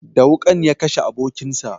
Da wuƙan ya kashe abokin sa